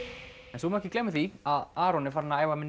svo má ekki gleyma því að Aron er farinn að æfa með